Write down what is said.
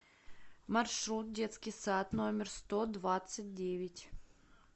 маршрут детский сад номер сто двадцать девять